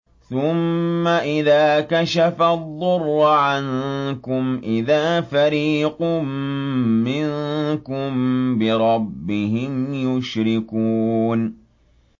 ثُمَّ إِذَا كَشَفَ الضُّرَّ عَنكُمْ إِذَا فَرِيقٌ مِّنكُم بِرَبِّهِمْ يُشْرِكُونَ